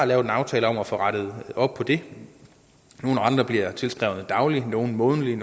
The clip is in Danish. lavet en aftale om at få rettet op på det nogle renter bliver tilskrevet dagligt nogle månedligt